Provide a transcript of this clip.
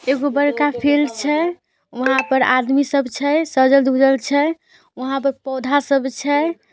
एकगो बड़का फील्ड छै वहाँ पर आदमी सब छै सजल-दुहल छै वहाँ पर पौधा सब छै।